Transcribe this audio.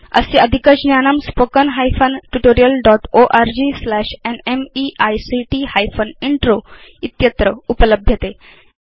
अस्य अधिकज्ञानम् spoken hyphen tutorial dot org slash NMEICT hyphen intro इत्यत्र उपलभ्यते